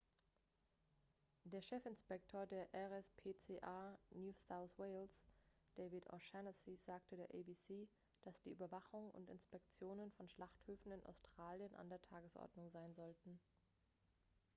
der chefinspektor der rspca new south wales david o'shannessy sagte der abc dass die überwachung und inspektionen von schlachthöfen in australien an der tagesordnung sein sollten